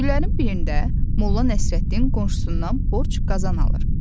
Günlərin birində Molla Nəsrəddin qonşusundan borc qazan alır.